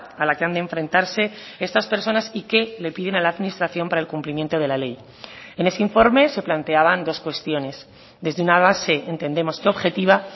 a la que han de enfrentarse estas personas y que le piden a la administración para el cumplimiento de la ley en ese informe se planteaban dos cuestiones desde una base entendemos que objetiva